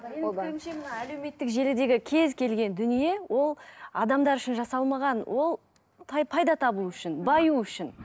әлеуметтік желідегі кез келген дүние ол адамдар үшін жасалмаған ол пайда табу үшін баю үшін